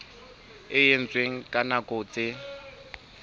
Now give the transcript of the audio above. e etswang ka nako tse